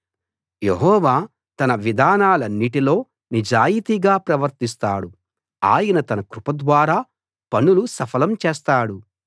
యెహోవా తన విధానాలన్నిటిలో నిజాయితీగా ప్రవర్తిస్తాడు ఆయన తన కృప ద్వారా పనులు సఫలం చేస్తాడు